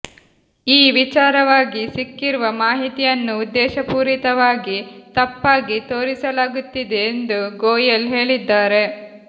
ಈ ವಿಚಾರವಾಗಿ ಸಿಕ್ಕಿರುವ ಮಾಹಿತಿಯನ್ನು ಉದ್ದೇಶಪೂರಿತವಾಗಿ ತಪ್ಪಾಗಿ ತೋರಿಸಲಾಗುತ್ತಿದೆ ಎಂದು ಗೋಯೆಲ್ ಹೇಳಿದ್ದಾರೆ